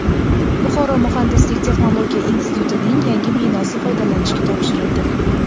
Buxoro muhandislik-texnologiya institutining yangi binosi foydalanishga topshirildi.